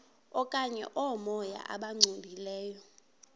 okanye oomoya abangcolileyo